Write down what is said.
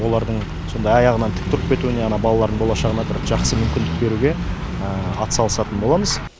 олардың сондай аяғынан тік тұрып кетуіне ана балалардың болашағына бір жақсы мүмкіндік беруге атсалысатын боламыз